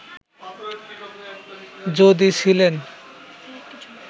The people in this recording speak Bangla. যদি ছিলেন